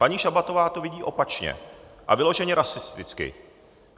Paní Šabatová to vidí opačně a vyloženě rasisticky.